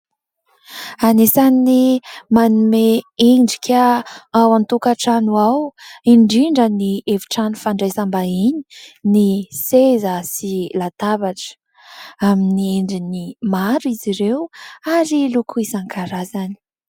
Anisan'ny manome endrika ao an-tokantrano ao, indrindra ny efitrano fandraisam-bahiny ny : seza sy latabatra. Amin'ny endriny maro izy ireo ary loko isan-karazany.